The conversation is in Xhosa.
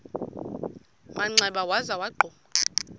manxeba waza wagquma